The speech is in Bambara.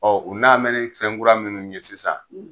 u nanbɛ ni fɛn kura minnu ye sisan